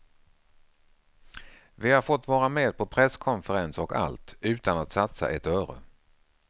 Vi har fått vara med på presskonferenser och allt, utan att satsa ett öre.